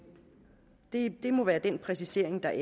det må være den præcisering der er